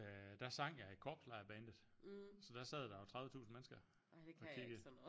Øh der sang jeg i korpslejrbandet så der sad der jo 30 tusind mennesker og kiggede